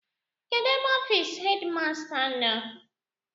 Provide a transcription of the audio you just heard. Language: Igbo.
Kedụ ebe ọfịịsị hedịmasta nọ?